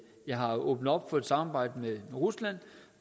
jeg har åbnet op for at samarbejde med rusland og